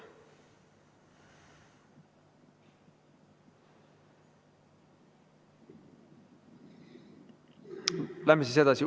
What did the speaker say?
Läheme siis edasi.